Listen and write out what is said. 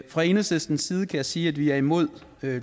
fra enhedslistens side kan jeg sige at vi er imod